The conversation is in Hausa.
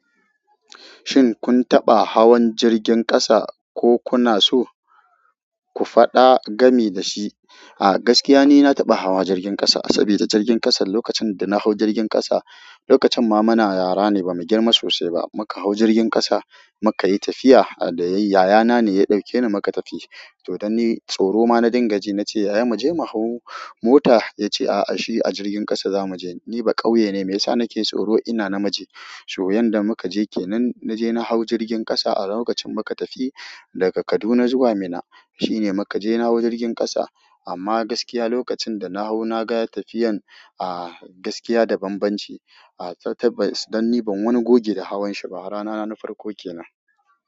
Shin kun taɓa hawan jirgin ƙasa ko kuna so ku faɗa gami da shi? A gaskiya ni na taɓa hawa jirgin ƙasa. Sabi da jirgin ƙasa, lokacin da na hau jirgin ƙasa, lokacin ma muna yara ne ba mu girma sosai ba. Muka hau jirgin ƙasa muka yi tafiya adaye yaya na ne ya ɗauke ni muka tafi. To don ni tsoro ma na dinga ji, na ce "yaya mu je mu hau mota", ya ce a'a shi a jirgin ƙasa za mu je. Ni bakauye ne me yasa nake tsoro ina na miji so yanda muka je kenan na je na hau jirgin ƙasa a lokacin muka tafi daga Kaduna zuwa Minna. Shi ne muka je na hau jirgin ƙasa. Amma gaskiya lokacin da na hau na ga tafiyan a gaskiya da banbanci. A tattaɓas, don ni ban wani goge da hawan shi ba. Rana na na farko ke nan.